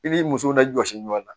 I b'i musow lajɔsi ɲɔn na